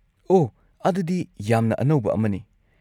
ꯑꯣꯍ! ꯑꯗꯨꯗꯤ ꯌꯥꯝꯅ ꯑꯅꯧꯕ ꯑꯃꯅꯤ꯫